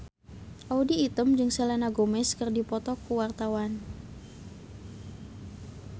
Audy Item jeung Selena Gomez keur dipoto ku wartawan